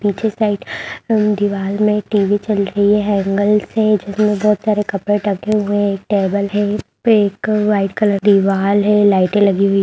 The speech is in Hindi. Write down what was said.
पीछे साइड दीवाल में टी.वी. चल रही है हैंगर्स हैं जिसमें बहुत सारे कपड़े टँगे हुए हैं एक टेबल है इसपे एक व्हाइट कलर दीवाल है लाइटे लगी हुई --